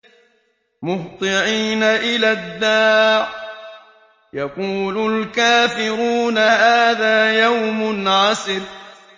مُّهْطِعِينَ إِلَى الدَّاعِ ۖ يَقُولُ الْكَافِرُونَ هَٰذَا يَوْمٌ عَسِرٌ